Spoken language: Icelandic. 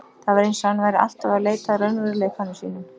Það var eins og hann væri alltaf að leita að raunveruleikanum sínum.